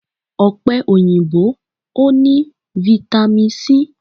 Ọ̀pẹ òyìnbó o ní fitamì c.